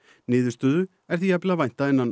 niðurstöðu er því jafnvel að vænta innan